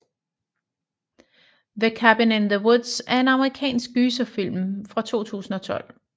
The Cabin in the Woods er en amerikansk gyserfilm fra 2012